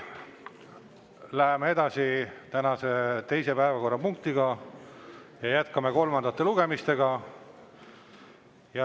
Läheme edasi tänase teise päevakorrapunktiga ja jätkame kolmandaid lugemisi.